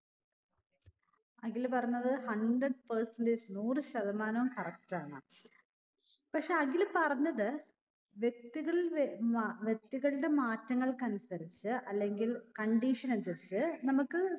അഖില് പറഞ്ഞത് hundred percentage നൂറ് ശതമാനം correct ആണ് പക്ഷെ അഖില് പറഞ്ഞത് വ്യക്തികളിൽ വെ വ വ്യക്തികളുടെ മാറ്റങ്ങൾക്കനുസരിച്ച് അല്ലെങ്കിൽ condition അനുസരിച്ച് നമ്മക്ക്